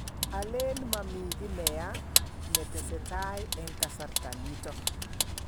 Alen mami kiy ne yaa ne tesetai eng' kasarta nitok